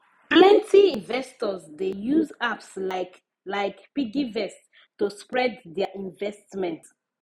plenty investors dey use apps like like piggyvest to spread their investment